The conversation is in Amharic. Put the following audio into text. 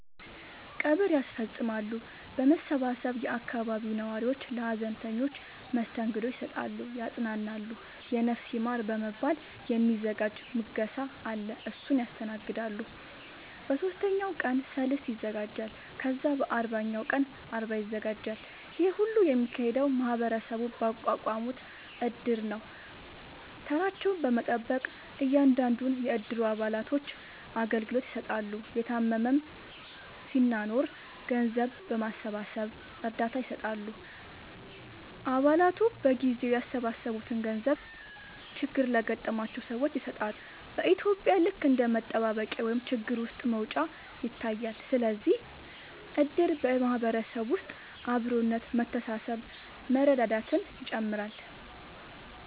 ቀብር ያስፈፅማሉ በመሰባሰብ የአካባቢው ነዋሪዎች ለሀዘንተኞች መስተንግዶ ይሰጣሉ ያፅናናሉ የነፍስ ይማር በመባል የ ሚዘጋጅ ምገባ አለ እሱን ያስተናግዳሉ በ ሶስተኛው ቀን ሰልስት ይዘጋጃል ከዛ በ አርባኛው ቀን አርባ ይዘጋጃል ይሄ ሁሉ የሚካሄደው ማህበረሰቡ ባቋቋሙት እድር ነው ተራቸውን በመጠበቅ እያንዳንዱን የ እድሩ አባላቶች አገልግሎት ይሰጣሉ የታመመም ሲናኖር ገንዘብ በማሰባሰብ እርዳታ ይሰጣሉ አ ባላቱ በየጊዜው ያሰባሰቡትን ገንዘብ ችግር ለገጠማቸው ሰዎች ይሰጣሉ በ ኢትዩጵያ ልክ እንደ መጠባበቂያ ወይም ችግር ውስጥ መውጫ ይታያል ስለዚህም እድር በ ማህበረሰብ ውስጥ አብሮነት መተሳሰብ መረዳዳትን ይጨምራል